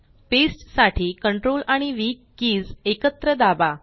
paste साठी ctrl आणि V keys एकत्र दाबा